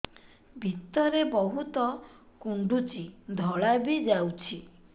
ଭିତରେ ବହୁତ କୁଣ୍ଡୁଚି ଧଳା ବି ଯାଉଛି